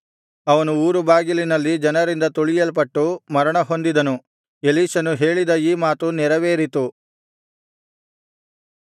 ಅವನು ಊರುಬಾಗಿಲಿನಲ್ಲಿ ಜನರಿಂದ ತುಳಿಯಲ್ಪಟ್ಟು ಮರಣ ಹೊಂದಿದನು ಎಲೀಷನು ಹೇಳಿದ ಈ ಮಾತು ನೆರವೇರಿತು